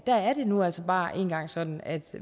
der er det nu altså bare engang sådan at